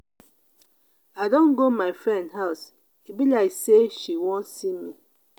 i don go my friend house e be like sey she wan see me.